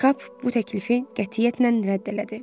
Kap bu təklifi qətiyyətlə rədd elədi.